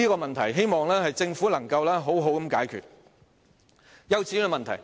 所以，希望政府能妥善解決這個問題。